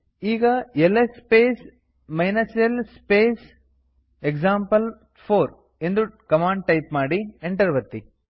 ಈಗ LS space l space example four ಎಂದು command type ಮಾಡಿ ಎಂಟರ್ ಒತ್ತಿ